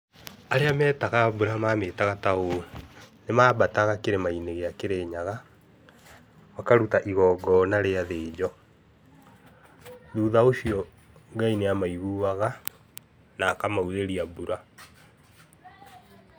Arĩa metaga mbura mamĩtaga ta ũũ, nĩ mambataga kĩrĩmainĩ gĩa kĩrĩnyaga, makaruta igongona rĩa thĩnjo. Thutha ũcio Ngai nĩ amaiguaga na akamaurĩria mbura.